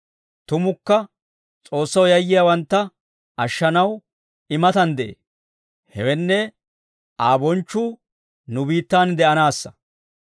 Tumukka S'oossaw yayyiyaawantta ashshanaw I matan de'ee; hewenne, Aa bonchchuu nu biittan de'anaassa.